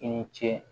I ni ce